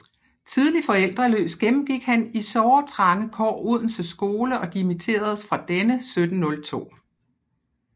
Tidlig forældreløs gennemgik han i såre trange kår Odense Skole og dimitteredes fra denne 1702